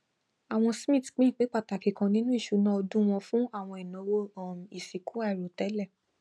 àwọn smiths pín ìpín pàtàkì kan nínú ìṣúná ọdún wọn fún àwọn ináwó um ìsìnkú àìròtẹlẹ